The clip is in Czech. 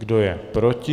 Kdo je proti?